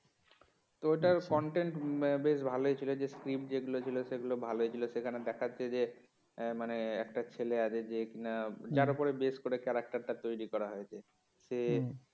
তো ওটার content বেশ ভালই ছিল যে script যেগুলো ছিল সেটাগুলো ভালোই ছিল সেখানে দেখাচ্ছে যে ইয়ে মানে একটা ছেলে আছে যে কিনা যার উপর বেশ করে character তৈরি করা হয়েছে সে